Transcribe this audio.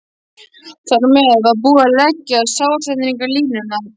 Þar með var búið að leggja skrásetjaranum línurnar.